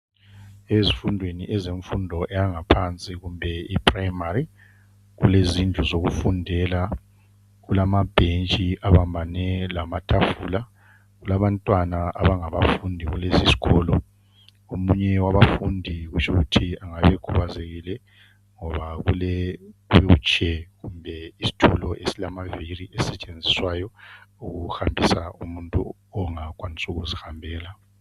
Ezifundweni ezemfundo eyangaphansi kumbe primary kulezindlu zokufundela. Kulamabentshi abambene lamatafula. Kulabantwana abangabafundi kulesi sikolo. Omunye wabafundi kutsho ukuthi engaba ekhubazekile ngoba ulewheelchair kumbe isitulo esilamaviri esisetshenziswayo ukuhambisa umuntu ongakwanisi ukuzihambela.